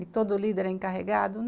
E todo líder é encarregado?